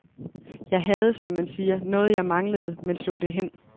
Jeg havde, som man siger, noget jeg manglede, men slog det hen.